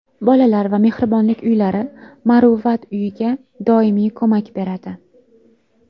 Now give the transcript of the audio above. Bolalar va Mehribonlik uylari, Muruvvat uyiga doimiy ko‘mak beradi.